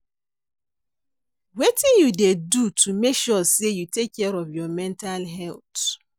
Wetin you dey do to make sure say you take care of your mental health?